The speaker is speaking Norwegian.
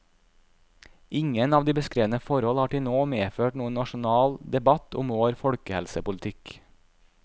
Ingen av de beskrevne forhold har til nå medført noen nasjonal debatt om vår folkehelsepolitikk.